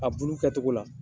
A bulu kɛ togo la